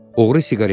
Oğru siqaret çəkdi.